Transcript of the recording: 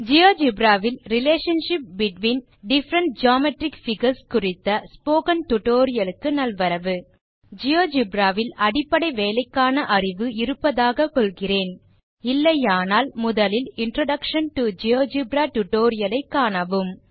GeoGebra வில் relationship between different geometric figures குறித்த spoken tutorial க்கு நல்வரவு Geogebraவில் அடிப்படை வேலைக்கான அறிவு இருப்பதாக கொள்கிறேன் இல்லையானால் முதலில் இன்ட்ரோடக்ஷன் டோ ஜியோஜெப்ரா டியூட்டோரியல் காணவும்